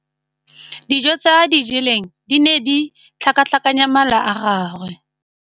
Dijô tse a di jeleng di ne di tlhakatlhakanya mala a gagwe.